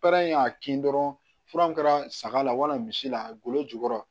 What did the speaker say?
Baara in y'a kin dɔrɔn fura kɛra saga la wali misi la golo jukɔrɔ